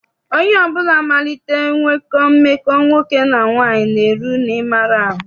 Onye ọbụla malitere nwekọ mmekọ nwoke na nwaanyị na-eru n'ịmara ahụ.